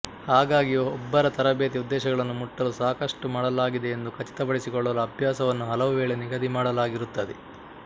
ಹಾಗಾಗಿ ಒಬ್ಬರ ತರಬೇತಿ ಉದ್ದೇಶಗಳನ್ನು ಮುಟ್ಟಲು ಸಾಕಷ್ಟು ಮಾಡಲಾಗಿದೆಯೆಂದು ಖಚಿತಪಡಿಸಿಕೊಳ್ಳಲು ಅಭ್ಯಾಸವನ್ನು ಹಲವುವೇಳೆ ನಿಗದಿಮಾಡಲಾಗಿರುತ್ತದೆ